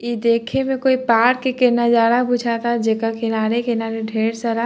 इ देखे में कोई पार्क के नजारा बुझाता जेकर किनारे-किनारे ढेर सारा --